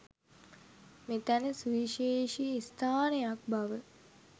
මෙතැන සුවිශේෂී ස්ථානයක් බව